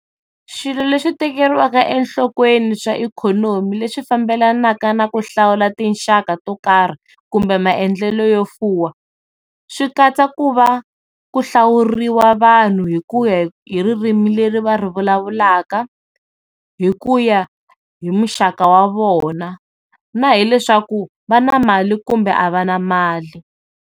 Swilo leswi tekeriwa enhlokweni swa ikhonomi leswi fambelanaka na ku hlawula tinxaka to karhi kumbe maendlelo yo fuwa swi katsa ku va ku hlawuriwa vanhu hikuya hi ririmi leri va ri vulavulaka, hikuya hi muxaka wa vona na hileswaku va na mali kumbe a va na mali.